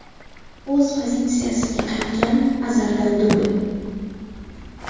O‘z pozitsiyasiga qaytgan Azardan dubl.